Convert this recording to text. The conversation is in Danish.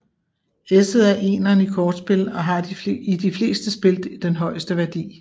Esset er eneren i kortspil og har i de fleste spil den højeste værdi